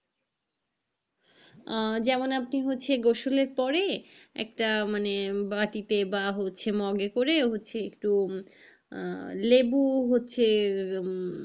আহ যেমন আপনার হচ্ছে গোসলের পরে একটা মানে বাটিতে বা হচ্ছে মগ এ করে হচ্ছে আহ একটু লেবু হচ্ছে, উম